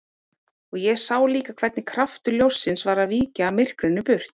Og ég sá líka hvernig kraftur ljóssins var að víkja myrkrinu burt.